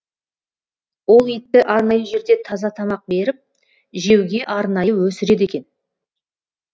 ол итті арнайы жерде таза тамақ беріп жеуге арнайы өсіреді екен